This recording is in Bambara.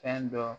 Fɛn dɔ